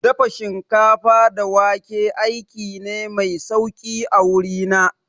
Dafa shinkafa da wake aiki ne mai sauki a wuri na